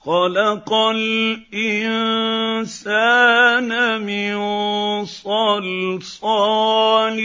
خَلَقَ الْإِنسَانَ مِن صَلْصَالٍ